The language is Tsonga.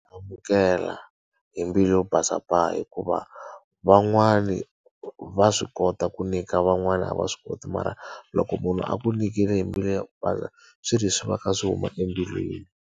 Amukela hi mbilu yo basa pa hikuva, van'wani va swi kota ku nyika van'wana a va swi koti mara, loko munhu a ku nyikile hi mbilu yo basa swi ri swi va kha swi huma embilwini.